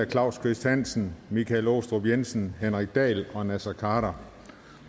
claus kvist hansen michael aastrup jensen henrik dahl og naser khader